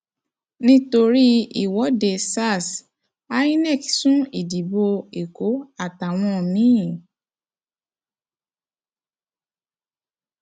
nítorí ìwọde sars inov sún ìdìbò èkó àtàwọn mi